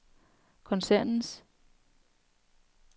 koncernens